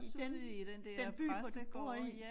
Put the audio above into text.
I den den by hvor du bor i